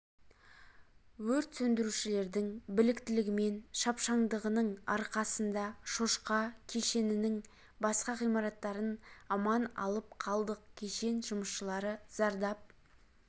өрт сөндірушілердің біліктілігі мен шапшаңдығының арқасында шошқа кешенінің басқа ғимараттарын аман алып қалдық кешен жұмысшылары зардап